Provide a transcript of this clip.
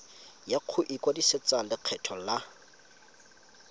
ya go ikwadisetsa lekgetho la